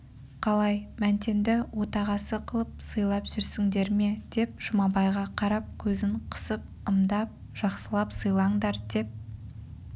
қалай мәнтенді отағасы қылып сыйлап жүрсіңдер ме деп жұмабайға қарап көзін қысып ымдап жақсылап сыйлаңдар деп